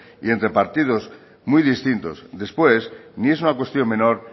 y entre partidos muy distintos después ni es una cuestión menor